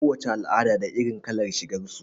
Ko wace al'ada da irin kalar shigar su.